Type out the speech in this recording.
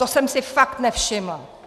To jsem si fakt nevšimla.